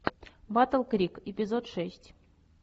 батл крик эпизод шесть